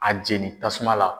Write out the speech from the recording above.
A jeni tasuma la.